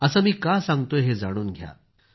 असं मी का सांगतोय हे जाणून घ्या